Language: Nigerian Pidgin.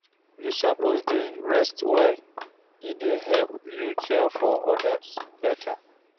You suppose dey rest well, e dey help you care for odas beta.